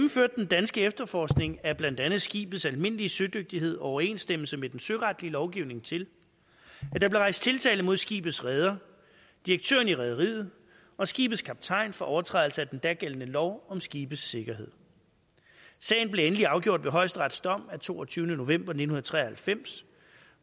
den danske efterforskning af blandt andet skibets almindelige sødygtighed og overensstemmelse med den søretlige lovgivning til at der blev rejst tiltale mod skibets reder direktøren i rederiet og skibets kaptajn for overtrædelse af en den dagældende lov om skibes sikkerhed sagen blev endeligt afgjort ved højesterets dom af toogtyvende november nitten tre og halvfems